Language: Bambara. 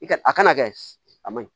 I ka a kana kɛ a ma ɲi